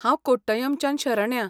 हांव कोट्टयमच्यान शरण्या.